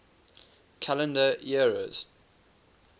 calendar eras